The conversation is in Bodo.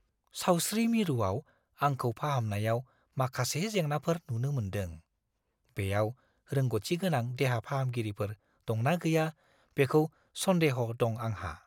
सावस्रि मिरुआव आंखौ फाहामनायाव माखासे जेंनाफोर नुनो मोनदों। बेयाव रोंग'थिगोनां देहा-फाहामगिरिफोर दंना गैया बेखौ सन्देह दं आंहा।